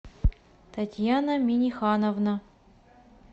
татьяна минихановна